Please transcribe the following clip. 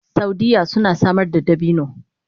Saudiyya suna samar da dabino